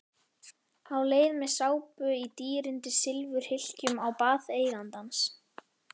Á leið með sápu í dýrindis silfurhylkjum á bað eigandans.